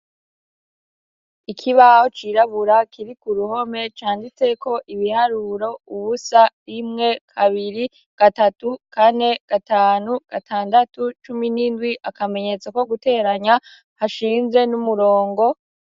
Ikibaho cirabura kiri ku ruhome canditseko ibiharuro: ubusa, rimwe, kabiri, gatatu, kane, gatanu, gatandatu, cumi n'indwi, akamenyetso ko guteranya hashinze n'umurongo.